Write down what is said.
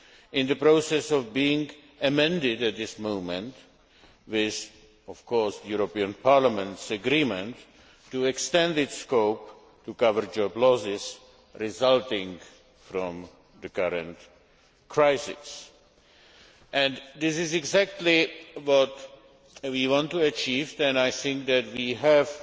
in the process of being amended at this moment, with of course Parliament's agreement, to extend its scope to cover job losses resulting from the current crisis. This is exactly what we want to achieve, and I think that we